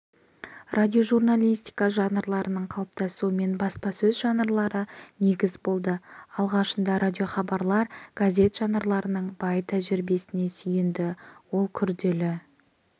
радиожурналистика жанрларының қалыптасуына баспасөз жанрлары негіз болды алғашында радиохабарлар газет жанрларының бай тәжірибесіне сүйенді ол күрделі